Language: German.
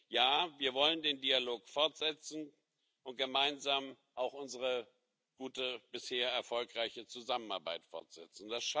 Ja, wir wollen den Dialog fortsetzen und gemeinsam auch unsere gute, bisher erfolgreiche Zusammenarbeit fortsetzen.